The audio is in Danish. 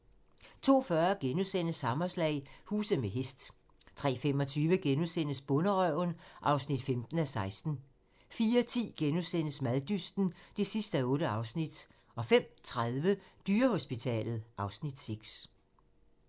02:40: Hammerslag - huse med hest * 03:25: Bonderøven (15:16)* 04:10: Maddysten (8:8)* 05:30: Dyrehospitalet (Afs. 6)